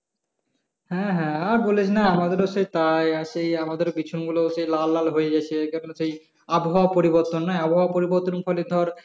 হ্যাঁ হ্যাঁ আর বলিস না আমাদের ও সেই তাই। আর সেই আমাদের ও বিছুনগুলো সেই লাল লাল হয়ে গেছে এই কারণে সেই আবহাওয়া পরিবর্তন নয় আবহাওয়া পরিবর্তন এর ফলে ধর,